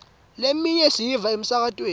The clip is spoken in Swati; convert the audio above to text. leminye siyiva emsakatweni